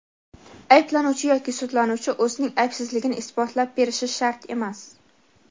ayblanuvchi yoki sudlanuvchi o‘zining aybsizligini isbotlab berishi shart emas.